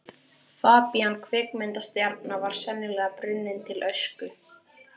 Fabían kvikmyndastjarna var sennilega brunninn til ösku.